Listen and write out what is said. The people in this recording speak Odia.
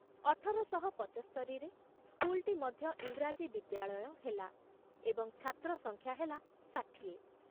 ଅଠର ଶହ ପଞ୍ଚସ୍ତରିରେ ସ୍କୁଲଟି ମଧ୍ୟ ଇଂରାଜୀ ବିଦ୍ୟାଳୟ ହେଲା ଏବଂ ଛାତ୍ର ସଂଖ୍ୟା ହେଲା ଷାଠିଏ ।